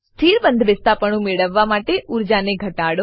સ્થિર બંધબેસતાપણું મેળવવા માટે ઊર્જાને ઘટાડો